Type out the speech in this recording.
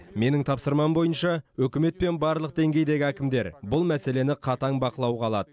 менің тапсырмам бойынша үкімет пен барлық деңгейдегі әкімдер бұл мәселені қатаң бақылауға алады